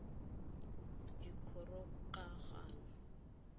dikgorokagano